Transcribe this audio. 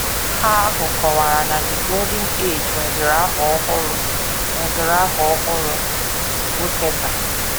Ha ahụ kọwara na The Golden Age nweziri aha ọhụrụ nweziri aha ọhụrụ, bụ́ Teta!